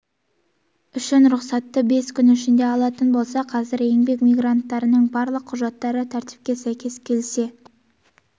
үшін рұқсатты бес күн ішінде алатын болса қазір еңбек мигранттарының барлық құжаттары тәртіпке сәйкес келсе